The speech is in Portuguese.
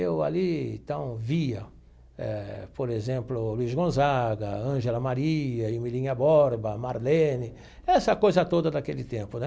Eu ali, então, via, eh por exemplo, Luiz Gonzaga, Ângela Maria, Emilinha Borba, Marlene, essa coisa toda daquele tempo, né?